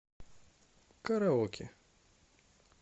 караоке